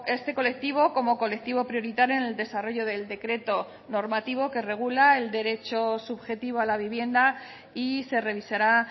este colectivo como colectivo prioritario en el desarrollo del decreto normativo que regula el derecho subjetivo a la vivienda y se revisará